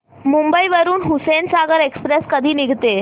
मुंबई वरून हुसेनसागर एक्सप्रेस कधी निघते